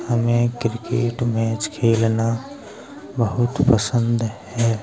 हमें cricket match खेलना बहुत पसंद है।